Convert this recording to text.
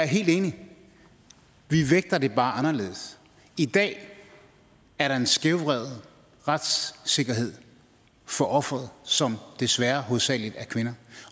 helt enig i at vi bare anderledes i dag er der en skævvredet retssikkerhed for ofrene som desværre hovedsagelig er kvinder